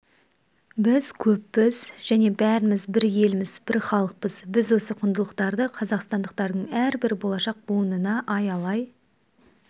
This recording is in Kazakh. біз көппіз және бәріміз бір елміз бір халықпыз біз осы құндылықтарды қазақстандықтардың әрбір болашақ буынына аялай